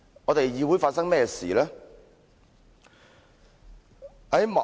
"議會究竟發生甚麼事呢？